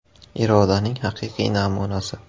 Irodaning haqiqiy namunasi.